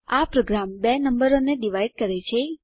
આ પ્રોગ્રામ બે નંબરોને ડિવાઇડ કરે છે